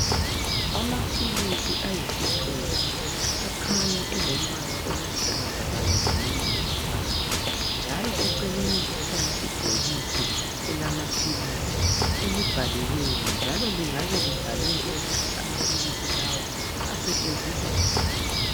Amaphilisi ayithupha akhanya elombala oluhlaza kanye lomunye umbala njalo eceleni kukhona ibhokisi elamaphilisi elibhaliweyo, njalo lingabe libhalwe ukuthi amaphilisi lawa asetshenziswa njani.